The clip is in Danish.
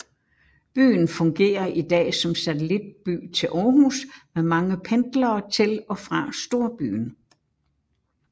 Byen fungerer i dag som satellitby til Aarhus med mange pendlere til og fra storbyen